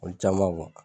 Olu caman